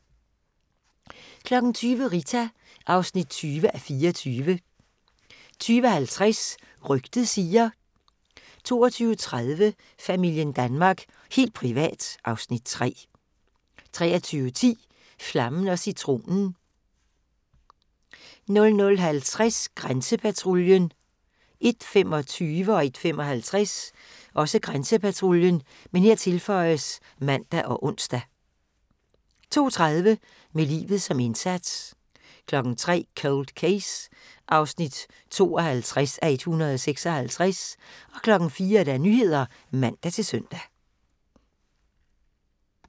20:00: Rita (20:24) 20:50: Rygtet siger ... 22:30: Familien Danmark – helt privat (Afs. 3) 23:10: Flammen & Citronen 00:50: Grænsepatruljen 01:25: Grænsepatruljen (man og ons) 01:55: Grænsepatruljen (man og ons) 02:30: Med livet som indsats 03:00: Cold Case (52:156) 04:00: Nyhederne (man-søn)